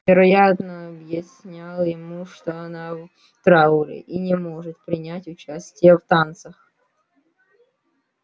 вероятно объяснял ему что она в трауре и не может принять участия в танцах